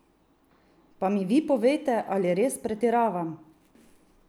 Pa mi vi povejte, ali res pretiravam?